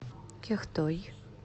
кяхтой